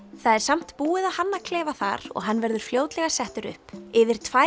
það er samt búið að hanna klefa þar og hann verður fljótlega settur upp yfir tvær